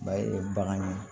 Ba ye bagan ye